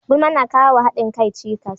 Gulma na kawowa hadin kai cikas.